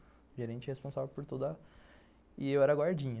O gerente é responsável por toda... E eu era guardinha.